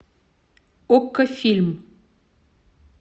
окко фильм